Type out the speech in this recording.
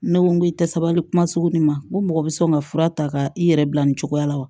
Ne ko n ko i tɛ sabali kuma sugu ma n ko mɔgɔ bɛ sɔn ka fura ta ka i yɛrɛ bila nin cogoya la wa